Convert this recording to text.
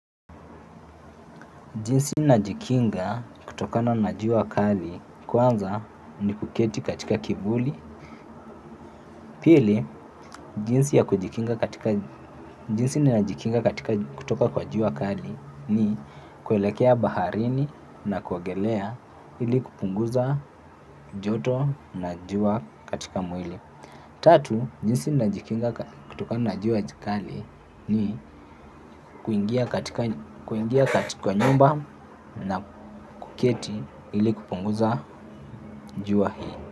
Jinsi najikinga kutokana na jua kali kwanza ni kuketi katika kivuli. Pili, jinsi najikinga katika kutoka kwa jua kali ni kuelekea baharini na kuogelea ili kupunguza joto na jua katika mwili. Tatu, jinsi najikinga kutokana na jua kali ni kuingia katika nyumba na kuketi ili kupunguza jua hii.